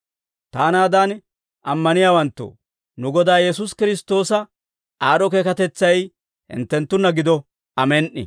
Taanaadan ammaniyaawanttoo, nu Godaa Yesuusi Kiristtoosa aad'd'o keekatetsay hinttenttunna gido. Amen"i.